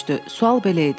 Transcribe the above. Sual belə idi: